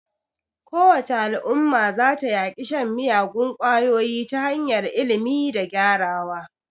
Kowace Al'umma za ta yaƙi shan miyagun kwayoyi ta hanyar ilimi da gyarawa.